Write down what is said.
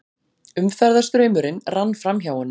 Umferðarstraumurinn rann framhjá honum.